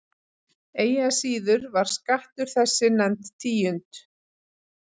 Eigi að síður var skattur þessi nefnd tíund.